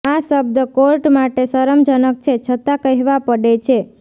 આ શબ્દ કોર્ટ માટે શરમજનક છે છતા કહેવા પડે છે